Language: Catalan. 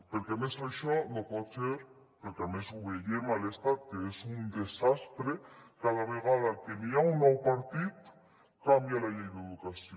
perquè a més això no pot ser perquè a més ho veiem a l’estat que és un desastre cada vegada que hi ha un nou partit canvia la llei d’educació